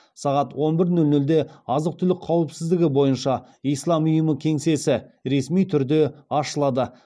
сағат он бір нөл нөлде азық түлік қауіпсіздігі бойынша ислам ұйымы кеңсесі ресми түрде ашылады